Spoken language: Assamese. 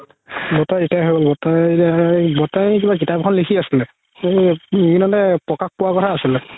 বৰতাই হয় গ'ল বৰতাই এতিয়া বৰতাই কিবা কিতাপ এখন লিখি আছিলে সেই প্ৰকাশ পোৱা কথা আছিলে